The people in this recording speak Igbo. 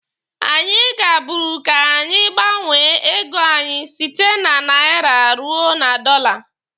Anyi gaburu ka anyị gbanwee ego anyị site na naira ruo na dọla.